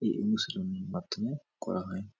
এই অনুশিনীর মাধ্যমে করা হয়।